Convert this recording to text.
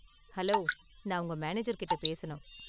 Hello, நான் உங்க மேனேஜர்கிட்ட பேசணும்.